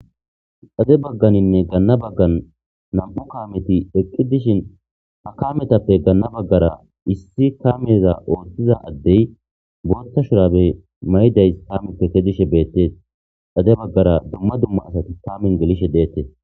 Xade bagganinne ganna baggan nam7u kaameti eqqidishe ha kaametappe ganna baggara issi kaameza woossiza addey booththa shuraabe mayiday kaameppe kezishe beettees xade baggara harati kaamen gelishe deettees.